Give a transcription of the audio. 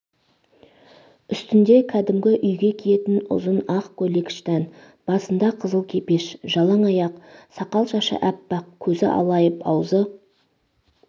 үстнде кәдімгі үйге киетін ұзын ақ көйлек-штән басында қызыл кепеш жалаңаяқ сақал-шашы әппақ көзі алайып аузы